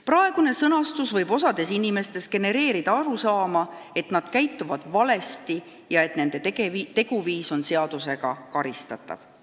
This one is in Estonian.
Praegune sõnastus võib osas inimestes genereerida arusaama, et nad käituvad valesti ja et nende teguviis on seadusega karistatav.